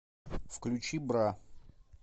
включи бра